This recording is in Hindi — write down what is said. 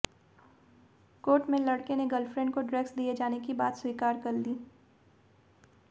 कोर्ट में लड़के ने गर्ल फ्रेंड को ड्रग्स दिए जाने की बात स्वीकार कर ली